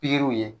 Pikiriw ye